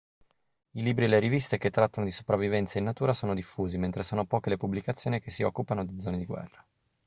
i libri e le riviste che trattano di sopravvivenza in natura sono diffusi mentre sono poche le pubblicazioni che si occupano di zone di guerra